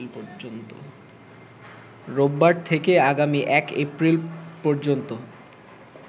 রোববার থেকে আগামী ১ এপ্রিল পর্যন্ত